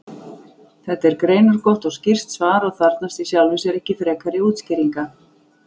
Þetta er greinargott og skýrt svar og þarfnast í sjálfu sér ekki frekari útskýringa.